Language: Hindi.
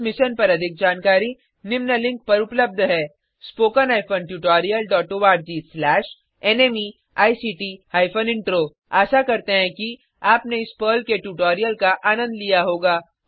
इस मिशन पर अधिक जानकारी निम्न लिंक पर उपलब्ध है httpspoken tutorialorgNMEICT Intro आशा करते हैं कि आपने इस पर्ल के ट्यूटोरियल का आनंद लिया होगा